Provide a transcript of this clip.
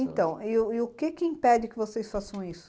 Então, e o que impede que vocês façam isso?